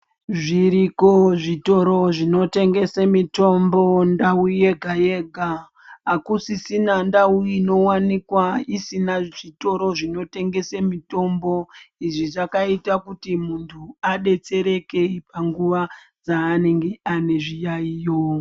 Zviriko zvitoro zvinotengesa mitombo mundau yega yega akusisina ndau inowanikwa isina zvitoro zvinotengesa mitombo izvi zvakaita kuti muntu adetsereke panguwa dzanenge ame zviyaiyo.